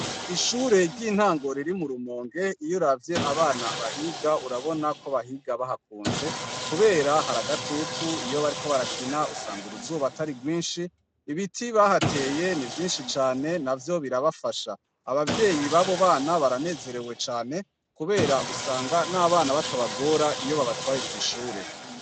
Ishure ry'intango riri mu Rumonge iyo uravye abana bahiga urabona ko abana bahiga bahakunze kubera hari agatutu iyo bariko barakina usanga uruzuba atari rwinshi ibiti bahateye nivyinshi cane navyo birabafasha abavyeyi babo bana baranezerew Cane Kubera usanga nabana batabagora iyo babatwaye kw'ishure.